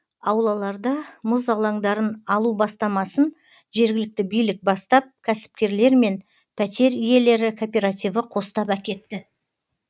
аулаларда мұз алаңдарын алу бастамасын жергілікті билік бастап кәсіпкерлермен пәтер иелері кооперативі қостап әкетті